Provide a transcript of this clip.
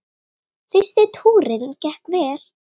Fyrsti túrinn gekk vel.